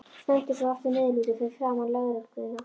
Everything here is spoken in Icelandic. Stendur svo aftur niðurlút fyrir framan lögregluna.